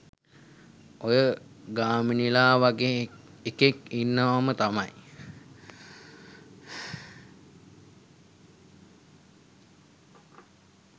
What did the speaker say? ඔය ගාමිනිලා වගේ එකෙක් ඉන්නවම තමයි